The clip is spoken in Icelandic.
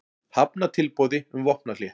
Hafna tilboði um vopnahlé